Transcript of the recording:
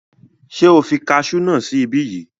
Ṣé o fi kasú náà sí ibí yìí?